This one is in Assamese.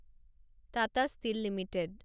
Tata steel limited